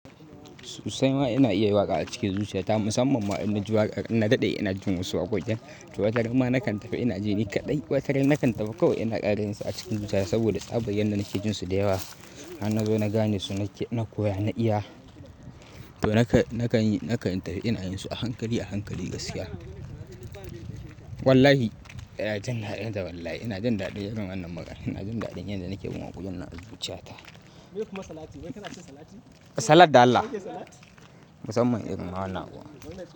Susai ma ina iya yi waƙa a cikin zuciya ta. Musamman wa'anni waƙar na daɗe ina jin wasu wakokin. Wata ramma nakan tafi ina ji ni kaɗai. Wata ran nakan tafi kawai ina ƙara yinsu a cikin zuciya saboda tsabar yanda nake jin su da yawa. Hanna zo na gane su, na koya, na iya. To nakan yi, nakan tahi ina yin su a hankali, a hankali gaskiya. Wallahi ina jin ɗacinta wallahi. Ina jin daɗin irin wannan maganar. Ina jin daɗin yadda nake bin wakokinnan a zuciyata. Kai kuma salati, bai kaɗa cin salati? Salat da Allah. Musamman irin rawa nawa.